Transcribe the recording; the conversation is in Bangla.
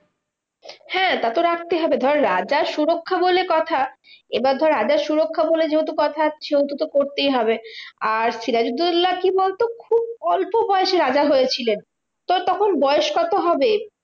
হ্যাঁ তা তো রাখতেই হবে ধর রাজার সুরক্ষা বলে কথা। এবার ধর রাজার সুরক্ষা বলে যেহেতু কথা সেহেতু তো করতেই হবে। আর সিরাজুদ্দোল্লা কি বলতো? খুব অল্প বয়সে রাজা হয়েছিলেন। তো তখন বয়স কত হবে?